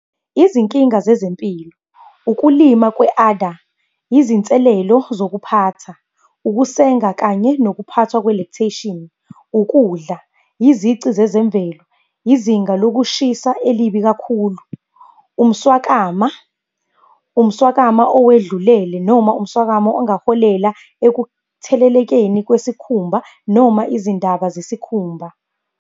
Izinkinga zezempilo, ukulima kwe-udder, izinselelo zokuphatha, ukusenga kanye nokuphathwa kwe-lactation. Ukudla, izici zezemvelo, izinga lokushisa elibi kakhulu. Umswakama, umswakama owedlulele, noma umswakama ongaholela ekuthelelekeni kwesikhumba noma izindaba zesikhumba.